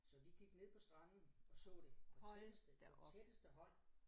Så vi gik ned på stranden og så det på tætteste på tætteste hånd